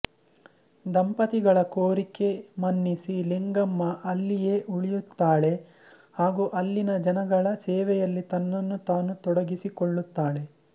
ದಂಪತಿಗಳ ಕೋರಿಕೆ ಮನ್ನಿಸಿ ಲಿಂಗಮ್ಮ ಅಲ್ಲಿಯೇ ಉಳಿಯುತ್ತಾಳೆ ಹಾಗು ಅಲ್ಲಿನ ಜನಗಳ ಸೇವೆಯಲ್ಲಿ ತನ್ನನ್ನು ತಾನು ತೊಡಗಿಸಿಕೊಳ್ಳುತ್ತಾಳೆ